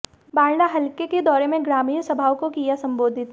बाढड़ा हलके के दौरे में ग्रामीण सभाओं को किया संबोधित